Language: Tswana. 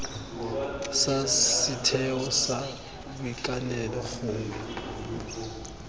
sa setheo sa boitekanelo gongwe